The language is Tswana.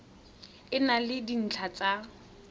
e na le dintlha tsa